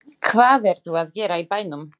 Hvað ertu að gera í bænum?